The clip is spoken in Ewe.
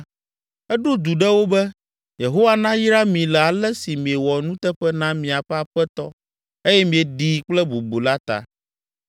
eɖo du ɖe wo be, “Yehowa nayra mi le ale si miewɔ nuteƒe na miaƒe aƒetɔ eye mieɖii kple bubu la ta.